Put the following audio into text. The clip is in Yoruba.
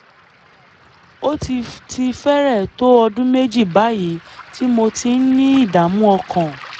ó ti ti fẹ́rẹ̀ẹ́ tó ọdún méjì báyìí tí mo ti ń ní ìdààmú ọkàn